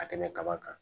Ka tɛmɛ kaba kan